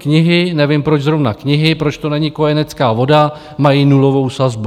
Knihy, nevím, proč zrovna knihy, proč to není kojenecká voda, mají nulovou sazbu.